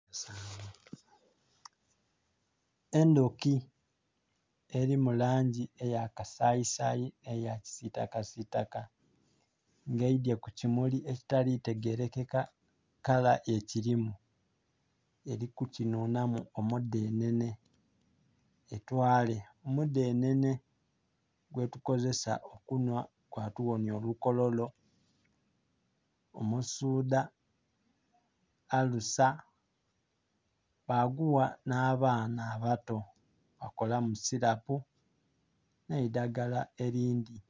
Endhuki eli mu langi eya kasayisayi n'eyakisiitakasiitaka nga eidhye ku kimuli ekitali tegelekaka kala ekilimu. Eli kukinhunhamu omudhenhenhe etwale, omudhenhenhe gwetukozesa okunhwa gwatughonya olukololo, omusuudha, alusa baguwa n'abaana abato, bakolamu silapu n'eidhagala elindhi.